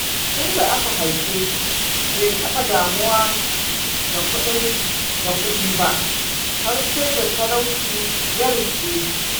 Tunda aka haife shi bai taɓa damuwa da kudi ba har sai da talauci ya riskeshi.